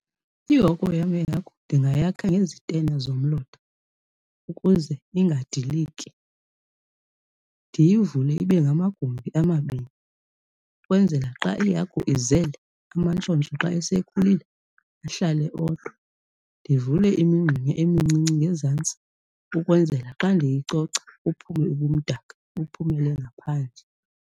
Ihoko yam yehagu ndingayakha ngezitena zomlotha ukuze ingadiliki, ndiyivule ibe ngamagumbi amabini ukwenzela xa ihagu izele amantshontsho xa esekhulile ahlale odwa. Ndivule imingxunya emincinci ngezantsi ukwenzela xa ndiyicoca buphume ubumdaka buphumele ngaphandle.